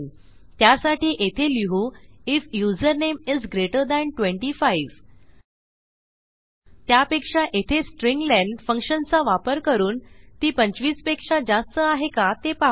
त्यासाठी येथे लिहू IF username is greater than 25 त्यापेक्षा येथे स्ट्र्लेन फंक्शनचा वापर करून ती 25 पेक्षा जास्त आहे का ते पाहू